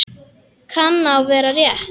Kann að vera rétt.